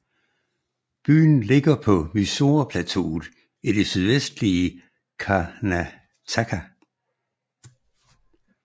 Byen ligger på Mysore Plateauet i det sydvestlige Karnataka